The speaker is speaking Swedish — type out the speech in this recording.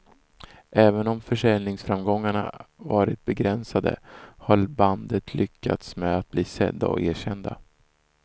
Även om försäljningsframgångarna varit begränsade har bandet lyckats med att bli sedda och erkända.